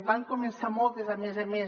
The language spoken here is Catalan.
van començar moltes a més a més